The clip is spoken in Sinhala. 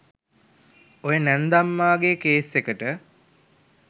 ඔය නැන්දම්මාගේ කේස් එකට